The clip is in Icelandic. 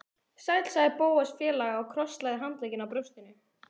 Sæll sagði Bóas fálega og krosslagði handleggina á brjóstinu.